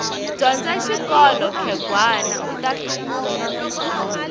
dyondza xikolo khegwani uta hluvuka